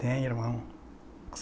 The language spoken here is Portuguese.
Tenho irmão.